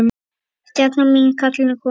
Stjana mín, kallið er komið.